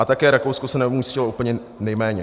A také Rakousko se neumístilo úplně nejméně.